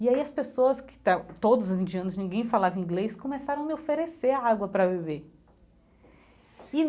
E aí as pessoas que esta, todos os indianos, ninguém falava inglês, começaram a me oferecer a água para beber e.